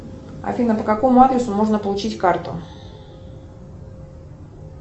афина по какому адресу можно получить карту